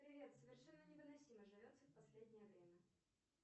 привет совершенно невыносимо живется в последнее время